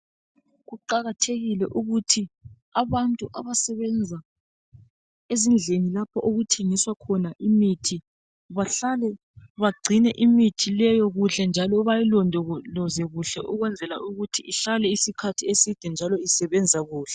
Kuqakathekile ukuthi abantu abasebenza ezindlini lapho okuthengiswa khona imithi bahlale bagcine imithi leyo kuhle njalo bayilondoloze kuhle ukwenzela ukuthi ihlale isikhathi eside njalo isebenza kuhle